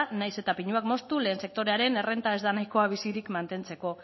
nahiz eta pinuak moztu lehen sektorearen errenta ez da nahikoa bizirik mantentzeko